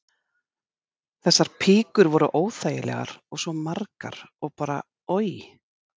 Þessar píkur voru óþægilegar og svo margar og bara oj.